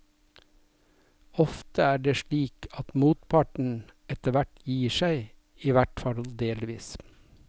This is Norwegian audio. Ofte er det slik at motparten etterhvert gir seg, i hvertfall delvis.